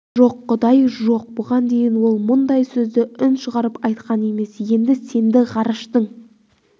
жоқ құдай құдай жоқ бұған дейін ол мұндай сөзді үн шығарып айтқан емес енді сенді ғарыштың